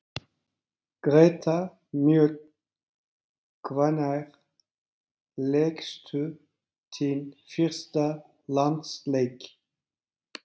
Greta Mjöll Hvenær lékstu þinn fyrsta landsleik?